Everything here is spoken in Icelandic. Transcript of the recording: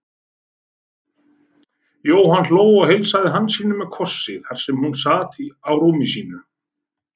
Jóhann hló og heilsaði Hansínu með kossi þar sem hún sat á rúmi sínu.